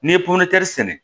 N'i ye popɛti sɛnɛ